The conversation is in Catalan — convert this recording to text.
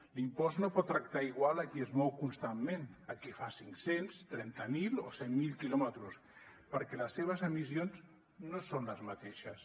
l’impost no pot tractar igual a qui es mou constantment a qui fa cinc cents trenta mil o cent mil quilòmetres perquè les seves emissions no són les mateixes